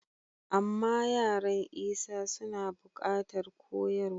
Amma yaran Isa suna buƙatar koyarwa.